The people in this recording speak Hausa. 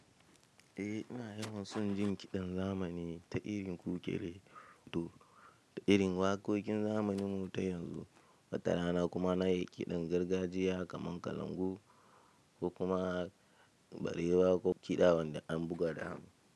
Eh ina yawan son jin kiɗan zamani ta irin kukere to da irin waƙoƙin zamanin mu ta yanzu, wata rana kuma na yi kiɗan gargajiya kamar kalangu ko kuma garewa ko kiɗa wanda an buga da hannu.